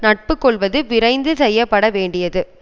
நட்பு கொள்வது விரைந்து செய்யப்படவேண்டியது